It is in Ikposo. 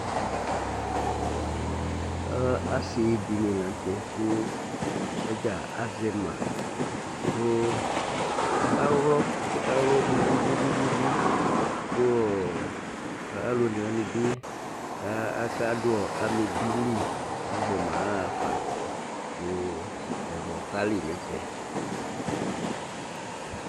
Asi dini latɛ ku sɔdza azɛ ma ku aka ylɔ ɔsiɛ ka ylɔ bububu ku alu oné wani bi akadu amébili azɛma ahafa ku ɛylɔ kali nɛfɛ